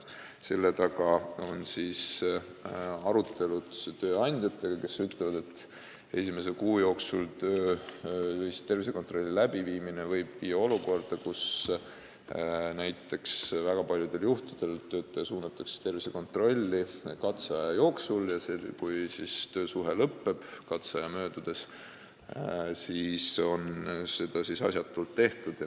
Selle taga on arutelud tööandjatega, kes on öelnud, et esimese kuu jooksul tervisekontrolli tegemine võib tähendada, et väga paljudel juhtudel suunatakse töötaja tervisekontrolli katseaja jooksul ja kui katseaja möödudes töösuhe lõpeb, siis on see kontroll asjatult tehtud.